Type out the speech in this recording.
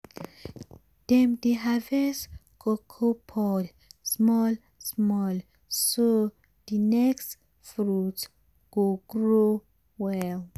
dem dey harvest cocoa pod small small so d next fruit go grow well.